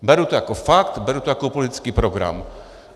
Beru to jako fakt, beru to jako politický program.